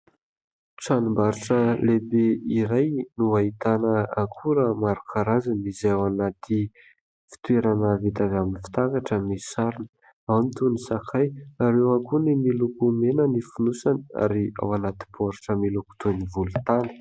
Tranombarotra lehibe iray no ahitana akora maro karazana, izay ao anaty fitoerana vita avy amin'ny fitaratra, misy sarona. Ao ny toy ny sakay, ary eo ihany koa ny miloko mena ny fonosany, ary ao anaty boritra miloko toy ny volontany.